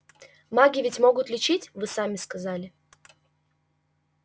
маги ведь могут лечить вы сами сказали